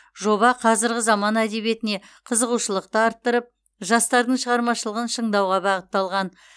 жоба қазіргі заман әдебиетіне қызығушылықты арттырып жастардың шығармашылығын шыңдауға бағытталған